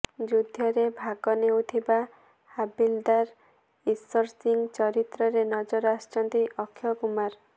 ଯୁଦ୍ଧରେ ଭାଗ ନେଇଥିବା ହାବିଲଦାର ଇଶର ସିଂହ ଚରିତ୍ରରେ ନଜର ଆସିଛନ୍ତି ଅକ୍ଷୟ କୁମାର